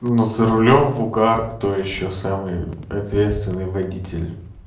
ну за рулём в угар кто ещё самый ответственный водитель